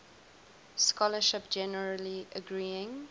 scholarship generally agreeing